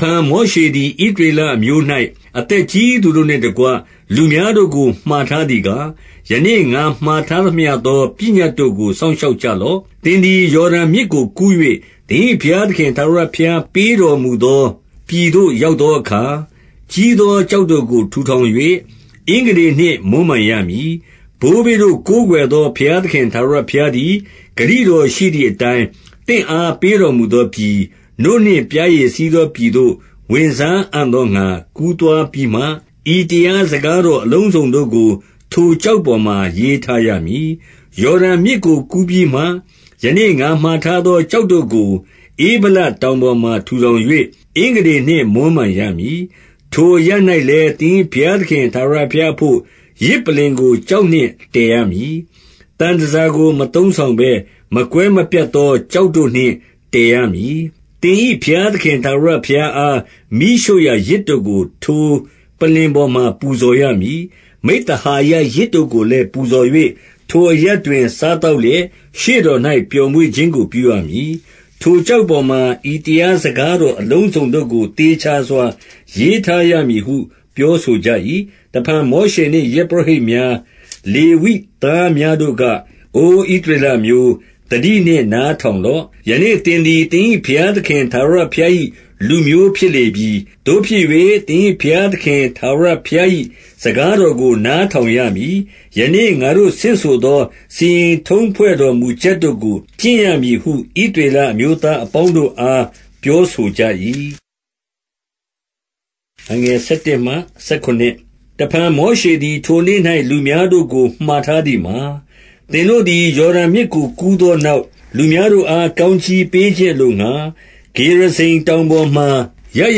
ဖန် မောရှေသည်၊ ဣသရေလအမျိုး၌ အသက်ကြီးသူတို့နှင့်တကွ လူများတို့ကို မှာထားသည်ကား၊ ယနေ့ ငါထားသမျှသော ပညတ်တို့ကို စောင့်ရှောက်ကြ လော့။ 2 သင်သည် ယော်ဒန်မြစ်ကို ကူး၍၊ သင်၏ဘုရား သခင် ထာဝရဘုရားပေးတော်မူသော ပြည်သို့ ရောက် သောအခါ၊ ကြီးသောကျောက်တို့ကို ထူထောင်၍ အင်္ဂတေနှင့် မွမ်းမံရမည်။ 3 ဘိုးဘေးတို့ ကိုးကွယ်သော ဘုရားသခင် ထာဝရဘုရားသည်၊ ဂတိတော်ရှိသည်အတိုင်း သင့်အား ပေးတော်မူသောပြည်၊ နို့နှင့် ပျားရည်စီးသောပြည်သို့ ဝင်စားအံ့သောငှာ ကူးသွားပြီးမှ၊ ဤတရား စကားတော် အလုံးစုံတို့ကို ထိုကျောက်ပေါ်မှာ ရေးထားရမည်။ 4 ယော်ဒန်မြစ်ကို ကူးပြီးမှ၊ ယနေ့ငါမှာထားသော ကျောက်တို့ကို ဧဗလတောင်ပေါ်မှာ ထူထောင်၍ အင်္ဂ တေနှင့် မွမ်းမံရမည်။ 5 ထိုအရပ်၌လည်း သင်၏ဘုရားသခင် ထာဝရ ဘုရားအဘို့၊ 6 ယဇ်ပလ္လင်ကို ကျောက်နှင့်တည်ရမည်။ သံ တန်ဆာကို မသုံးဆောင်ဘဲ၊ မကွဲမပြတ်သော ကျောက် တို့နှင့် တည်ရမည်။ သင်၏ဘုရားသခင် ထာဝရဘုရား အား မီးရှို့ရာယဇ်တို့ကို ထိုပလ္လင်ပေါ်မှာ ပူဇော်ရမည်။ 7 မိဿဟာယယဇ်တို့ကိုလည်း ပူဇော်၍၊ ထိုအရပ် တွင် စားသောက်လျက် ရှေ့တော်၌ ပျော်မွေ့ခြင်းကို ပြုရမည်။ 8 ထိုကျောက်ပေါ်မှာ ဤတရား စကားတော် အလုံးစုံတို့ကို သေချာစွာ ရေးထားရမည်ဟု ပြောဆိုကြ၏။ 9 တဖန် မောရှေနှင့် ယဇ်ပုရောဟိတ်များ၊ လေဝိ သားများတို့က၊ အိုဣသရေလအမျိုး၊ သတိနှင့် နားထောင် လော့။ ယနေ့သင်သည် သင်၏ဘုရားသခင် ထာဝရ ဘုရား၏ လူမျိုးဖြစ်လေပြီ။ 10 သို့ဖြစ်၍၊ သင်၏ဘုရားသခင် ထာဝရဘုရား၏ စကားတော်ကို နားထောင်ရမည်။ ယနေ့ငါတို့ ဆင့်ဆို သော စီရင်ထုံးဖွဲ့တော်မူချက်တို့ကို ကျင့်ရမည်ဟု ဣသရေလအမျိုးသားအပေါင်းတို့အား ပြောဆိုကြ၏။ 11 တဖန် မောရှေသည် ထိုနေ့၌ လူများတို့ကို မှာထားသည်မှာ၊ 12 သင်တို့သည် ယော်ဒန်မြစ်ကို ကူးသောနောက်၊ လူများတို့အား ကောင်းကြီးပေးခြင်းအလိုငှာ ဂေရဇိမ် တောင်ပေါ်မှာ ရပ်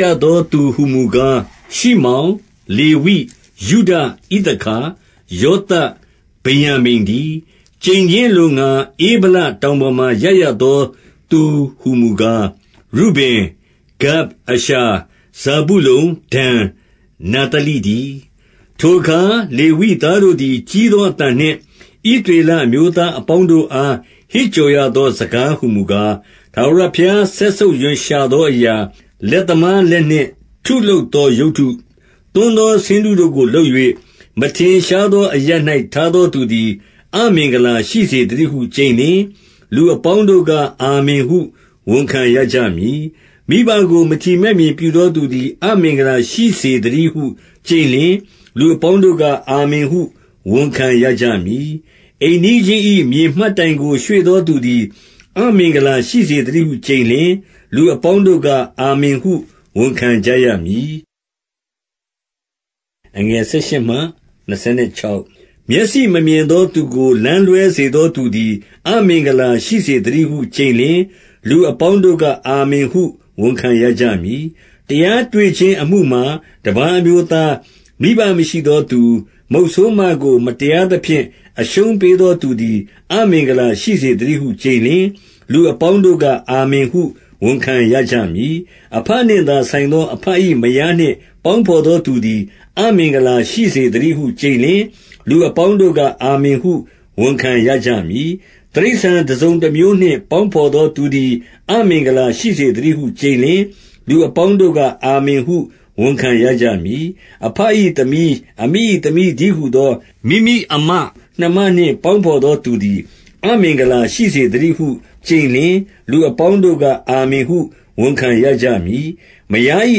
ရသော သူဟူမူကား၊ ရှိမောင်၊ လေဝိ၊ ယုဒ၊ ဣသခါ၊ ယောသပ်၊ ဗင်္ယာမိန်တည်း။ 13 ကျိန်ခြင်းအလိုငှာ၊ ဧဗလတောင်ပေါ်မှာ ရပ်ရ သော သူဟူမူကား၊ ရုဗင်၊ ဂဒ်၊ အာရှာ၊ ဇာဗုလုန်၊ ဒန်၊ နဿလိတည်း။ 14 ထိုအခါ လေဝိသားတို့သည် ကြီးသောအသံနှင့် ဣသရေလအမျိုးသားအပေါင်းတို့အား ဟစ်ကြော်ရ သော စကားဟူမူကား၊ 15 ထာဝရဘုရား စက်ဆုပ်ရွံရှာသောအရာ၊ လက်သမားလက်နှင့် ထုလုပ်သော ရုပ်တု၊ သွန်းသော ဆင်းတုကို လုပ်၍ မထင်ရှားသော အရပ်၌ ထားသောသူ သည် အမင်္ဂလာရှိစေသတည်းဟု ကျိန်လျှင်၊ လူအပေါင်း တို့က အာမင်ဟု ဝန်ခံရကြမည်။ 16 မိဘကို မထီမဲ့မြင်ပြုသောသူသည် အမင်္ဂလာ ရှိစေသတည်းဟု ကျိန်လျှင်၊ လူအပေါင်းတို့က အာမင်ဟု ဝန်ခံရကြမည်။ 17 အိမ်နီးချင်း၏ မြေမှတ်တိုင်ကို ရွှေ့သောသူသည် အမင်္ဂလာရှိစေသတည်းဟု ကျိန်လျှင်၊ လူအပေါင်းတို့က အာမင်ဟု ဝန်ခံရကြမည်။ 18 မျက်စိမမြင်သောသူကို လမ်းလွဲစေသောသူ သည် အမင်္ဂလာရှိစေသတည်းဟု ကျိန်လျှင်၊ လူအပေါင်း တို့က အာမင်ဟု ဝန်ခံရကြမည်။ 19 တရားတွေ့ခြင်းအမှုမှာတပါး အမျိုးသား၊ မိဘ မရှိသောသူ၊ မုတ်ဆိုးမကို မတရားသဖြင့် အရှုံးပေးသော သူသည် အမင်္ဂလာရှိစေသတည်းဟု ကျိန်လျှင်၊ လူ အပေါင်းတို့က အာမင်ဟု ဝန်ခံရကြမည်။ 20 အဘနှင့်သာဆိုင်သော အဘ၏ မယားနှင့် ပေါင်းဘော်သောသူသည် အမင်္ဂလာရှိစေသတည်းဟု ကျိန်လျှင်၊ လူအပေါင်းတို့က အာမင်ဟု ဝန်ခံရကြမည်။ 21 တိရစ္ဆာန်တစုံတမျိုးနှင့် ပေါင်းဘော်သော သူသည် အမင်္ဂလာရှိစေသတည်းဟု ကျိန်လျှင်၊ လူ အပေါင်းတို့က အာမင်ဟု ဝန်ခံရကြမည်။ 22 အဘ၏ သမီး၊ အမိ၏ သမီးတည်းဟူသော မိမိအစ်မ နှမနှင့် ပေါင်းဘော်သောသူသည် အမင်္ဂလာ ရှိစေသတည်းဟု ကျိန်လျှင်၊ လူအပေါင်းတို့က အာမင်ဟု ဝန်ခံရကြမည်။ 23 မယား၏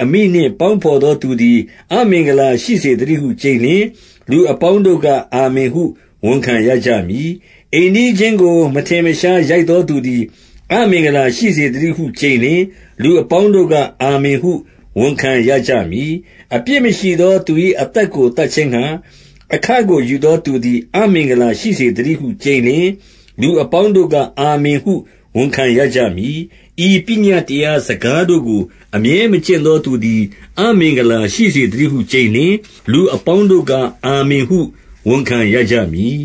အမိနှင့် ပေါင်းဘော်သောသူသည် အမင်္ဂလာ ရှိစေသတည်းဟု ကျိန်လျှင်၊ လူအပေါင်းတို့က အာမင်ဟု ဝန်ခံရကြမည်။ 24 အိမ်နီးချင်းကို မထင်မရှား ရိုက်သောသူသည် အမင်္ဂလာရှိစေသတည်းဟု ကျိန်လျှင်၊ လူအပေါင်းတို့က အာမင်ဟု ဝန်ခံရကြမည်။ 25 အပြစ်မရှိသော သူ၏ အသက်ကို သတ်ခြင်းငှာ အခကို ယူသောသူသည် အမင်္ဂလာရှိစေသတည်းဟု ကျိန်လျှင်၊ လူအပေါင်းတို့က အာမင်ဟု ဝန်ခံရကြမည်။ 26 ဤပညတ်တရားစကားတို့ကို အမြဲမကျင့်သော သူသည် အမင်္ဂလာရှိစေသတည်းဟု ကျိန်လျှင်၊ လူအ ပေါင်းတို့က အာမင်ဟု ဝန်ခံရကြမည်။